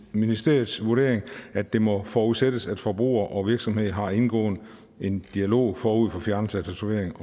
ministeriets vurdering at det må forudsættes at forbruger og virksomhed har indgået en dialog forud for fjernelsen af tatovering